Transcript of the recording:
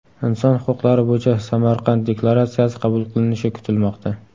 Inson huquqlari bo‘yicha Samarqand deklaratsiyasi qabul qilinishi kutilmoqda.